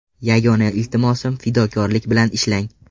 Yagona iltimosim fidokorlik bilan ishlang!